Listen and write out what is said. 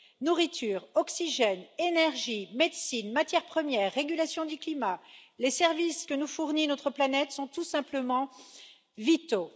Nourriture, oxygène, énergie, médecine, matières premières, régulation du climat, les services que nous fournit notre planète sont tout simplement vitaux.